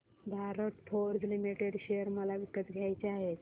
Bharat Forge Limited share मला विकत घ्यायचे आहेत